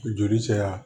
Joli sera